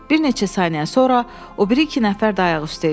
Bir neçə saniyə sonra o biri iki nəfər də ayaq üstə idi.